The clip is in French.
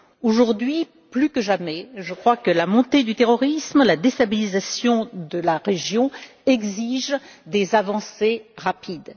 Aujourd'hui plus que jamais, je crois que la montée du terrorisme et la déstabilisation de la région exigent des avancées rapides.